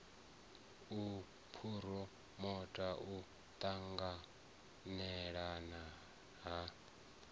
u phuromota u ṱanganelana ha